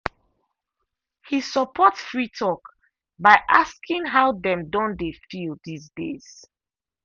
he support free talk by asking how dem don dey feel these days.